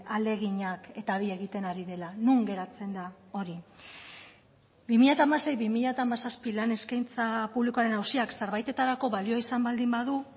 ahaleginak eta bi egiten ari dela non geratzen da hori bi mila hamasei bi mila hamazazpi lan eskaintza publikoaren auziak zerbaitetarako balio izan baldin badu